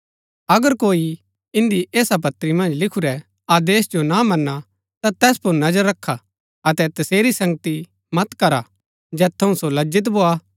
अगर कोई इन्दी ऐसा पत्री मन्ज लिखुरै आदेश जो ना मनां ता तैस पुर नजर रखा अतै तसेरी संगति मत करा जैत थऊँ सो लज्जित भोआ